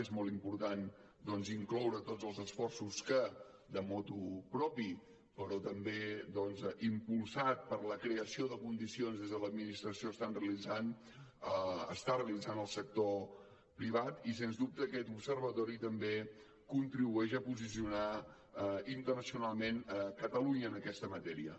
és molt important incloure tots els esforços que motu proprio però també doncs impulsat per la creació de condicions que des de l’administració està realitzant el sector privat i sens dubte aquest observatori també contribueix a posicionar internacionalment catalunya en aquesta matèria